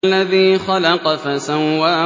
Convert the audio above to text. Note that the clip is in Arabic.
الَّذِي خَلَقَ فَسَوَّىٰ